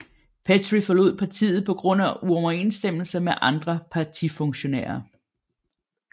Petry forlod partiet på grund af uoverensstemmelser med andre partifunktionærer